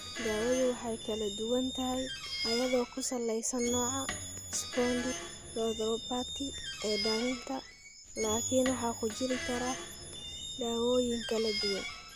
Daawadu way kala duwan tahay iyadoo ku salaysan nooca spondyloarthropathy ee dhallinta laakiin waxaa ku jiri kara daawooyin kala duwan.